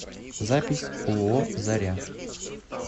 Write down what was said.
запись ооо заря